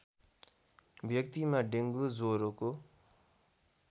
व्यक्तिमा डेङ्गु ज्वरोको